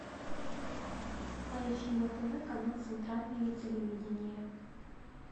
поищи на тв канал центральное телевидение